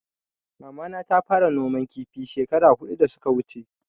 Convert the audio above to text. Mama na ta fara noman kifi shekara hudu da suka wuche